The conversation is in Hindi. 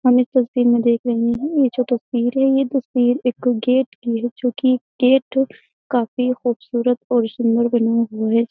हम इस तस्वीर में देख रहें हैं ये जो तस्वीर है ये तस्वीर एक गेट की है जो कि गेट काफी खुबसूरत और सुन्दर बना हुआ है।